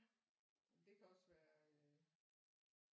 Det kan også være